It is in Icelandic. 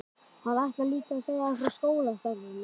Hann ætlar líka að segja frá skólastarfinu.